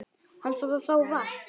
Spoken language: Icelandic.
Hann varð að fá vatn.